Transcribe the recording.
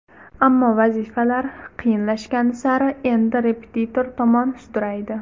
Ammo vazifalar qiyinlashgani sari endi repetitor tomon sudraydi.